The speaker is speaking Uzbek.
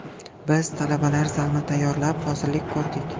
Biz talabalar zalni tayyorlab, hozirlik ko‘rdik.